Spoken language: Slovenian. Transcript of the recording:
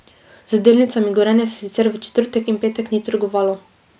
Z delnicami Gorenja se sicer v četrtek in petek ni trgovalo.